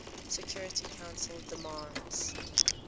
security council demands